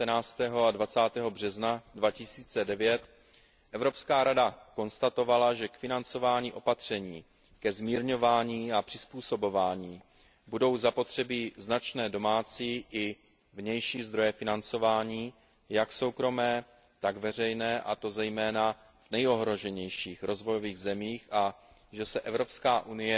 19. a 20. března 2009 Evropská rada konstatovala, že k financování opatření ke zmírňování a přizpůsobování budou zapotřebí značné domácí i vnější zdroje financování jak soukromé, tak veřejné, a to zejména v nejohroženějších rozvojových zemích, a že se EU